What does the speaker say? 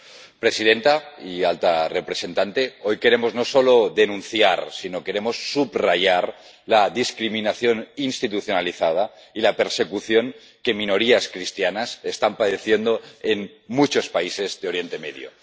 Señora presidenta, señora alta representante, hoy queremos no solo denunciar, sino subrayar la discriminación institucionalizada y la persecución que minorías cristianas están padeciendo en muchos países de Oriente Medio.